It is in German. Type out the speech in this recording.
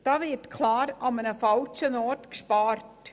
Diese 10 000 Franken werden klar am falschen Ort gespart.